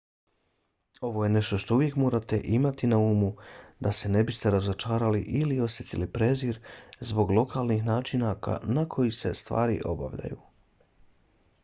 ovo je nešto što uvijek morate imati na umu da se ne biste razočarali ili osjetili prezir zbog lokalnih načina na koje se stvari obavljaju